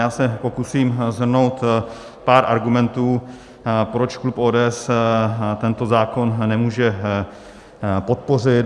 Já se pokusím shrnout pár argumentů, proč klub ODS tento zákon nemůže podpořit.